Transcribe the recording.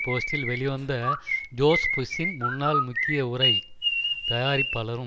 போஸ்ட்டில் வெளிவந்த ஜோஷ் புஷ்ஷின் முன்னாள் முக்கிய உரை தயாரிப்பாளரும்